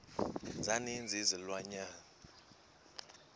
za ninzi izilwanyana